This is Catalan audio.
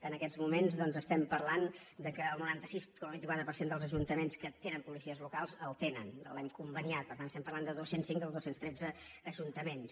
en aquests moments doncs estem parlant que el noranta sis coma vint quatre per cent dels ajuntaments que tenen policies locals el tenen l’hem conveniat per tant estem parlant de dos cents i cinc dels dos cents i tretze ajuntaments